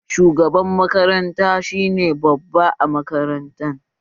Shugaban makaranta shi ne babba a makaranta